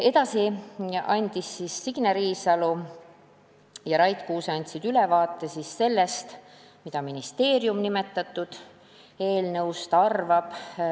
Edasi andsid Signe Riisalo ja Rait Kuuse ülevaate sellest, mida ministeerium nimetatud eelnõust arvab.